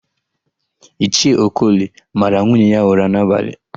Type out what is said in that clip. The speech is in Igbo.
Ichie Okoli mara nwunye ya ụra n'abalị.